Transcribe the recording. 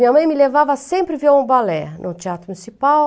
Minha mãe me levava sempre ver um balé no teatro municipal.